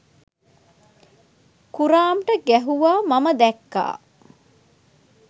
කුරාම්ට ගැහැව්වා මම දැක්කා